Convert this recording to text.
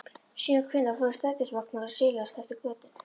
Síðan hvenær fóru strætisvagnar að silast eftir götunum?